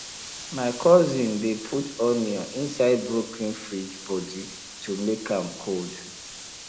my cousin dey put onion inside broken fridge body to make am cold